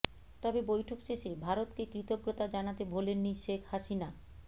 তবে বৈঠক শেষে ভারতকে কৃতজ্ঞতা জানাতে ভোলেননি শেখ হাসিনা